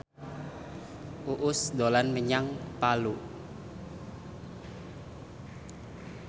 Uus dolan menyang Palu